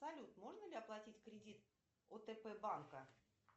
салют можно ли оплатить кредит отп банка